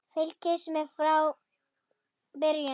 Fylgist með frá byrjun!